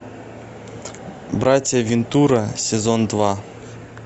братья вентура сезон два